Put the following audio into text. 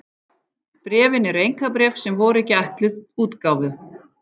Bréfin eru einkabréf sem voru ekki ætluð útgáfu.